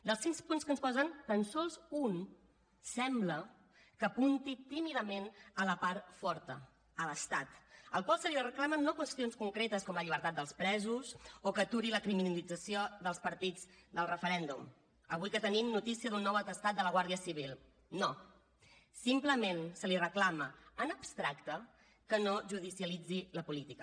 dels sis punts que ens posen tan sols un sembla que apunti tímidament a la part forta a l’estat al qual se li reclamen no qüestions concretes com la llibertat dels presos o que aturi la criminalització dels partits del referèndum avui que tenim notícia d’un nou atestat de la guàrdia civil no simplement se li reclama en abstracte que no judicialitzi la política